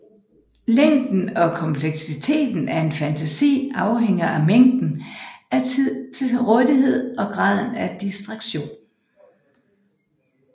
Længden og kompleksiteten af en fantasi afhænger af mængden af tid til rådighed og graden af distraktion